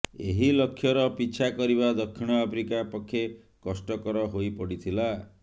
ଏହି ଲକ୍ଷ୍ୟର ପିଛା କରିବା ଦକ୍ଷିଣ ଆଫ୍ରିକା ପକ୍ଷେ କଷ୍ଟକର ହୋଇପଡ଼ିଥିଲା